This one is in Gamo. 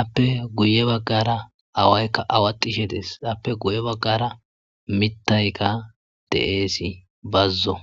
appe guye baggara awaykka awatishe dees appe guye baggara mittayka de'eesi bazzo.